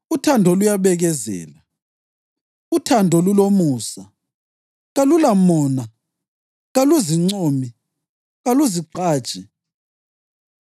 Uthando luyabekezela, uthando lulomusa. Kalulamona, kaluzincomi, kaluzigqaji.